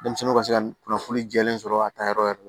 Denmisɛnninw ka se ka kunnafoni jɛlen sɔrɔ a taayɔrɔ yɛrɛ